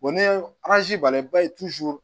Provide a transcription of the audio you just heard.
ni banna i b'a ye